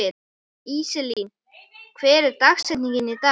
Íselín, hver er dagsetningin í dag?